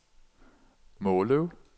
Måløv